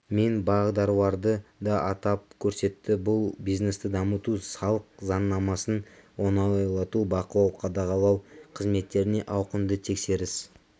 мен бағдарларды да атап көрсетті бұл бизнесті дамыту салық заңнамасын оңайлату бақылау-қадағалау қызметтеріне ауқымды текеріс